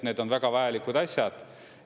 Need on väga vajalikud asjad.